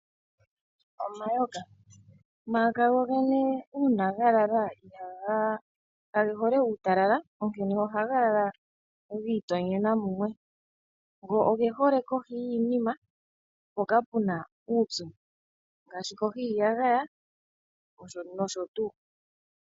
Omayoka, omayoka go gene una ga lala kage hole uutalala. Onkene ohaga lala gi itonyena mumwe, go oge hole kohi yiinima mpoka puna uupyu ngaashi kohi yiiyagaya noshotu.